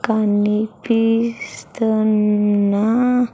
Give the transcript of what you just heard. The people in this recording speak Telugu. కనిపిస్తున్నా.